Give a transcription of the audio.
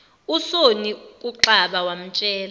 usonny kuxaba wamtshela